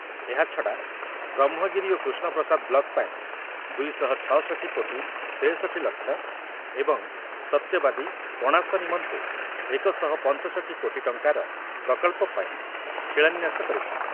ଏହାଛଡ଼ା ବ୍ରହ୍ମଗିରି ଓ କୃଷ୍ଣପ୍ରସାଦ ବ୍ଳକ ପାଇଁ ଦୁଇ ଶହ ଛ ଷଠି କୋଟି ତେଷଠି ଲକ୍ଷ ଏବଂ ସତ୍ୟବାଦୀ, କଣାସ ନିମନ୍ତେ ଶହେ ପଞ୍ଚଷଠି କୋଟି ଟଙ୍କାର ପ୍ରକଳ୍ପ ପାଇଁ ଶିଳାନ୍ୟାସ କରିଥିଲେ ।